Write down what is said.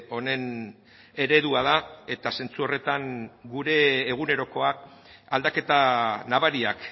honen eredua da eta zentzu horretan gure egunerokoak aldaketa nabariak